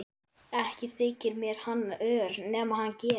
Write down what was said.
Ekki þyki mér hann ör nema hann gefi.